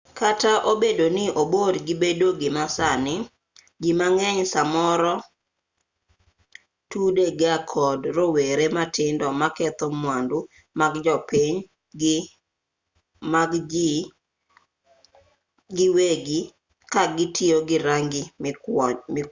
kata obedo ni obor gi bedo gima nyasani ji mang'eny samoro tude ga kod rowere matindo maketho mwandu mag jopiny gi mag ji giwegi ka gitiyo gi rangi mikwoyo